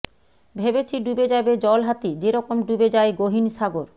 ভেবেছি ডুবে যাবে জলহাতি যেরকম ডুবে যায় গহিন সাগর